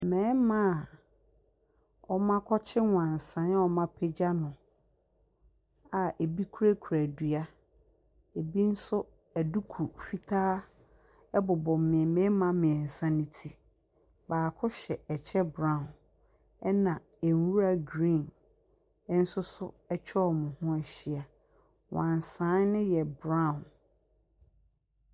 Mmarima a wɔakɔkye wansane a wɔapagya no a ɛbi kurakura dua, ebi nso aduku fitaa bobɔ mmee mmarima mmeɛnsa no ti. Baako hyɛ kyɛ brown, ɛnna nwura green nso so atwa wɔn ho ahyia. Wansane no yɛ brown.